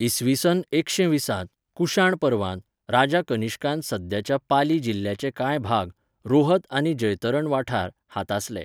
इ.स. एकशे वीसांत, कुशाण पर्वांत, राजा कनिष्कान सद्याच्या पाली जिल्ल्याचे कांय भाग, रोहत आनी जैतरण वाठार, हातासले.